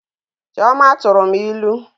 Chioma tụrụ m ilu